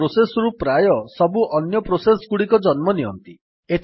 ଏହି ପ୍ରୋସେସ୍ ରୁ ପ୍ରାୟ ସବୁ ଅନ୍ୟ ପ୍ରୋସେସ୍ ଗୁଡ଼ିକ ଜନ୍ମ ନିଅନ୍ତି